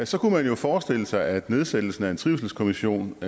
så kunne man jo forestille sig at nedsættelsen af en trivselskommission